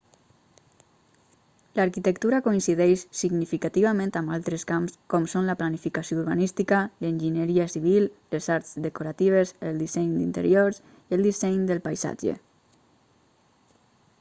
l'arquitectura coincideix significativament amb altres camps com són la planificació urbanística l'enginyeria civil les arts decoratives el disseny d'interiors i el disseny del paisatge